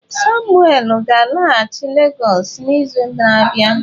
Samuel ga-alaghachi Lagos n'izu na-abịa.